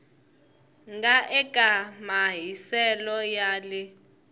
nga eka mahiselo ya le